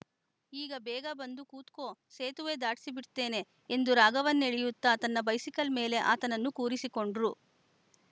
ಈಗ ಬೇಗ ಬಂದು ಕೂತ್ಗೊ ಸೇತುವೆ ದಾಡ್ಸಿ ಬಿಡ್ತೇನೆ ಎಂದು ರಾಗವನ್ನೆಳಿಯುತ್ತಾ ತನ್ನ ಬೈಸಿಕಲ್‌ ಮೇಲೆ ಆತನನ್ನು ಕೂರಿಸಿಕೊಂಡ್ರು